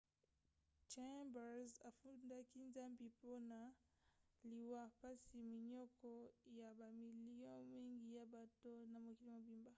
chambers afundaki nzambi mpona liwa mpasi minioko ya bamilio mingi ya bato na mokili mobimba.